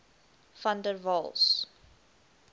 van der waals